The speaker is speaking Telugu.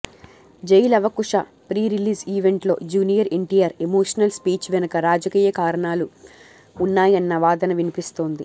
జైలవకుశ ప్రీ రిలీజ్ ఈవెంట్ లో జూనియర్ ఎన్టీఆర్ ఎమోషనల్ స్పీచ్ వెనుక రాజకీయ కారణాలు వున్నాయన్న వాదన వినిపిస్తోంది